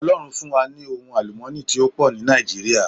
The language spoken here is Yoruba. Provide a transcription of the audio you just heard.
Ọlọ́run fún wa ní ohun àlùmọ́ọ́nì tí ó pò ní Nàìjíríà